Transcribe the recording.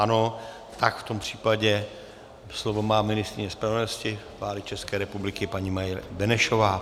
Ano, tak v tom případě slovo má ministryně spravedlnosti vlády České republiky, paní Marie Benešová.